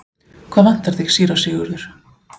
Hvað vantar þig, síra Sigurður?